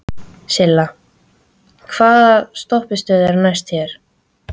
Silla, hvaða stoppistöð er næst mér?